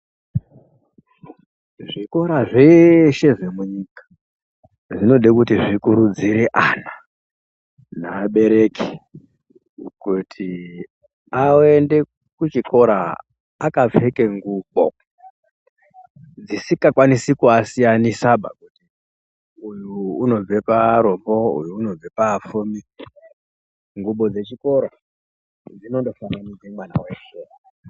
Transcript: Zvikora zveshe zvemunyika zvinode kuti zvikurudzire ana naabereki kuti aende kuchikora akapfeke ngubo dzisingakwanisi kuasiyanisa kuti uyu unobve paarombo uyu unobve paapfumi ngubo dzechikora dzinondo fananidze mwana weshe.